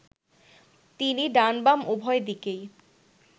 তিনি ডান-বাম উভয় দিকেই